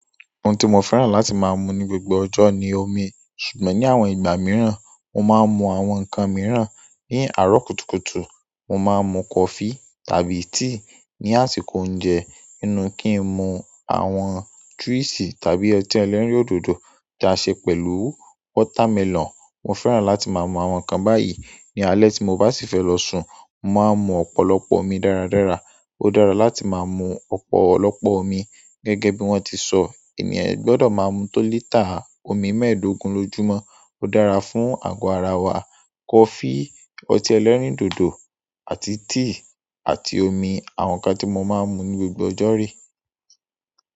Ohun tí mo fẹ́ràn láti máa mu ní gbogbo ọjọ́ ni omi. Ṣùgbọ́n ní àwọn ìgbà mìíràn, mo máa ń mu àwọn nǹkan mìíràn. Ní àárọ̀ kùtùkùtù, mo máa ń mu coffee tàbí tea. Ni àsìkò oúnjẹ, nínú kí ń mu àwọn juice tàbí ọtí ẹlẹ́rìndòdò tí a ṣe pẹ̀lú watermelon. Mo fẹ́ràn láti máa mu àwọn nǹkan báyìí. Ní alẹ́ tí mo bá sì fẹ́ lọ sùn, mo máa mu ọ̀pọ̀lọpọ̀ omi dáradára. Ó dára láti máa mu ọ̀pọ̀lọpọ̀ omi. Gẹ́gẹ́ bí wọ́n ti sọ, ènìyàn gbọ́dọ̀ máa mu tó lítà omi mẹ́ẹ̀dógún lójúmọ́. Ó dára fún àgọ́ ara wa. Coffee, ọtí ẹlẹ́rìndòdò àti tea àti omi àwọn nǹkan tí mo máa ń mu ní gbogbo ọjọ́ rè.